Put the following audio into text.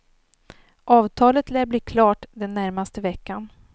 Avtalet lär bli klart den närmaste veckan.